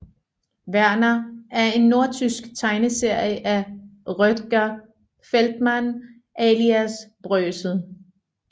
Werner er en nordtysk tegneserie af Rötger Feldmann alias Brösel